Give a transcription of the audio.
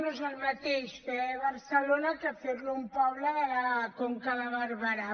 no és el mateix fer ho a barcelona que fer ho a un poble de la conca de barberà